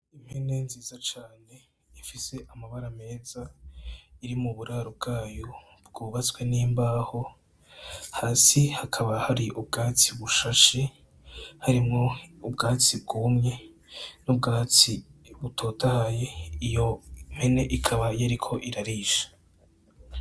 Impene nziza cane ifise amabara meza iri mu buraro bwayo bwubatswe n'imbaho, hasi hakaba hari ubwatsi bushashe, harimwo ubwatsi bwumye n'ubwatsi butotahaye iyo mpene ikaba yariko irarisha.